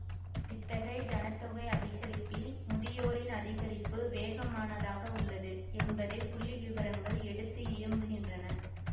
இத்தகைய ஜனத்தொகை அதிகரிப்பில் முதியோரின் அதிகரிப்பு வேகமானதாக உள்ளது என்பதை புள்ளி விபரங்கள் எடுத்தியம்புகின்றன